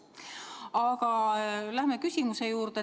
Aga läheme küsimuse juurde.